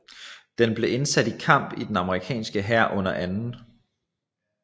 Den blev indsat i kamp i den amerikanske hær under 2